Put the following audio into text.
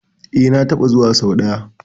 E, na taɓa zuwa sau ɗaya.